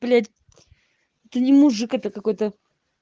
блять это не мужик это какой-то